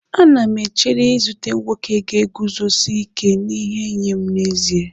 Ana m echere izute nwoke ga-eguzosi ike n'ihe nye m n'ezie.